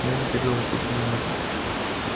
но я задержу вас лишь на минуту